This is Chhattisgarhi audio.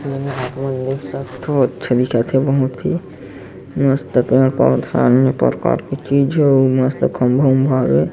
एला आपमन देख सकथव अच्छा दिखत हे बहुत ही मस्त पेड़ पौधा अन्य प्रकार के चीज हे अऊ मस्त खम्भा-उम्भा हवे।